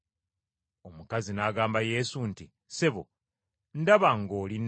Omukazi n’agamba Yesu nti, “Ssebo, ndaba ng’oli nnabbi.